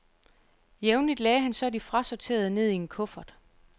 Jævnligt lagde han så de frasorterede ned i en kuffert.